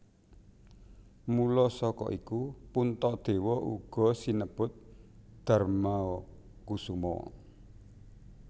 Mula saka iku Puntadewa uga sinebut Darmakusuma